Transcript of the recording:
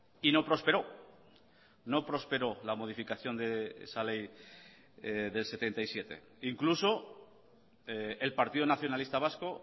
y no prosperó no prosperó la modificación de esa ley del setenta y siete incluso el partido nacionalista vasco